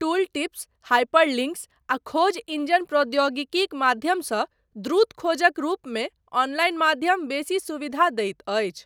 Tooltips, hyperlinks आ खोज engine प्रौद्योगिकीक माध्यमसँ द्रुत खोजक रूपमे ऑनलाइन माध्यम बेसी सुविधा दैत अछि।